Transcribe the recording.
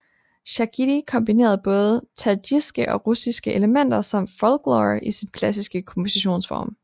Shakhidi kombinerede både tadsjikiske og russiske elementer samt folklore i sin klassiske kompositionsform